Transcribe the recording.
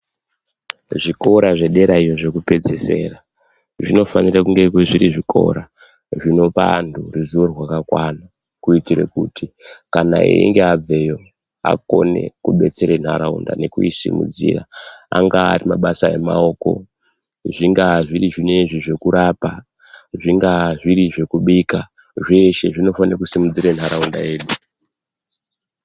Zvikora zvedera iyo zvekupedzesera, zvinofanira kunge zviri zvikora zvinopa anhu ruziwo rwakakwana, kuitira kuti einge abveyo, akone kubetsera nharaunda nekuisimudzira, anga ari mabasa emaoko, zvingaa zviri zvinezvi zvekurapa, zvingaa zviri zvekubika, zveshe zvinofanira kusimudzira nharaunda yedu.